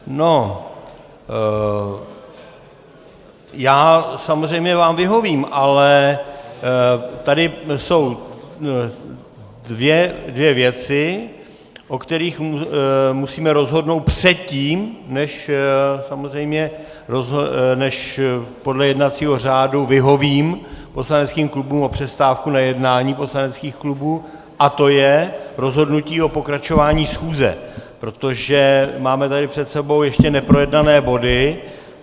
Já samozřejmě vám vyhovím, ale tady jsou dvě věci, o kterých musíme rozhodnout předtím, než samozřejmě podle jednacího řádu vyhovím poslaneckým klubům o přestávku na jednání poslaneckých klubů, a to je rozhodnutí o pokračování schůze, protože tady máme před sebou ještě neprojednané body.